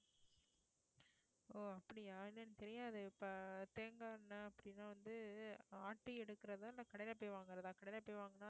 ஓ அப்படியா என்னன்னு தெரியாது இப்ப தேங்காய் எண்ணெய் அப்படின்னா வந்து ஆட்டி எடுக்கிறதா நான் கடையில போய் வாங்குறதா கடையில போய் வாங்குனா